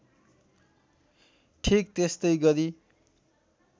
ठिक त्यस्तै गरी